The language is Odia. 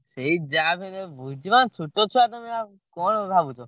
ସେଇ ଯା ବି ହେଲେ ବୁଝିବା ଛୋଟ ଛୁଆ ତମେ ଆଉ କଣ ଭାବୁଛ?